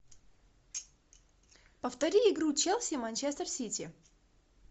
повтори игру челси манчестер сити